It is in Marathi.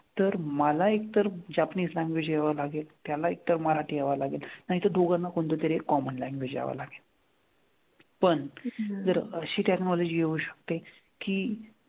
तर मला एक तर जापनीज language यावं लागेल त्याला एक तर मराठी यावं लागेल, नाही तर दोघांना पण कोणतंतरी एक common language यावं. पण जर अशी technology येऊ शकते की,